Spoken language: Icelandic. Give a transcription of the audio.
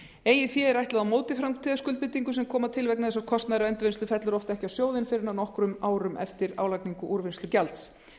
eigið fé er ætlað á móti framtíðarskuldbindingum sem koma til vegna þess að kostnaður við endurvinnslu fellur oft ekki á sjóðinn fyrr en nokkrum árum eftir álagningu úrvinnslugjalds